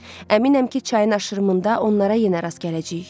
Əminəm ki, çayın aşırımında onlara yenə rast gələcəyik.